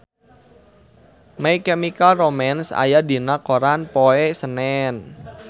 My Chemical Romance aya dina koran poe Senen